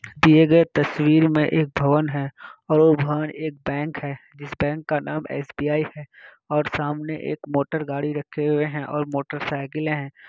दिए गई तस्वीर में एक भवन है और वो भवन एक बैंक हैजिस बैंक का नाम एस_बी_आई हैऔर सामने एक मोटर गाड़ी रखे हुए हैं और मोटर साइकिलें हैं।